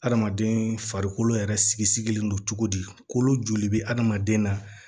Hadamaden farikolo yɛrɛ sigilen don cogo di kolo joli bɛ hadamaden na